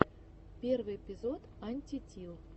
первый эпизод антитил